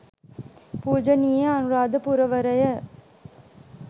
පූජනීය අනුරාධපුරවරය,